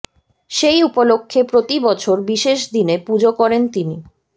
সেই উপলক্ষ্যে প্রতি বছর বিশেষ দিনে পুজো করেন তিনি